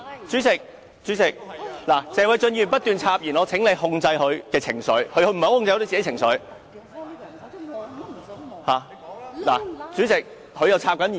主席，謝偉俊議員不斷插言，我請你控制他的情緒，他不太能夠控制自己的情緒。